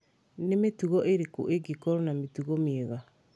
nĩ mĩtugo ĩrĩkũ ĩngĩkorũo na mĩtugo mĩega